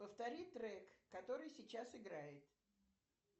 повтори трек который сейчас играет